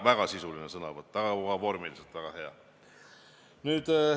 Väga sisuline sõnavõtt, aga ka vormiliselt väga hea.